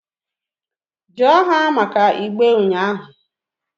just ha maka igbe unyahu ahu